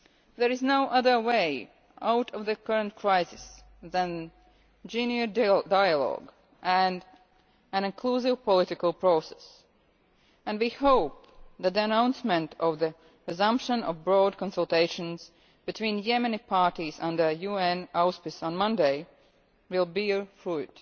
There is no other way out of the current crisis than genuine dialogue and an inclusive political process, and we hope that the announcement of the resumption of broad consultations between Yemeni parties under the auspices of the UN on Monday will bear fruit.